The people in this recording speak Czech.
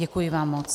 Děkuji vám moc.